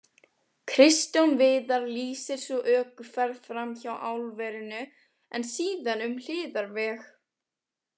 Kristján Viðar lýsir svo ökuferð fram hjá álverinu en síðan um hliðarveg.